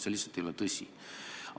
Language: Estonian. See lihtsalt ei ole tõsi.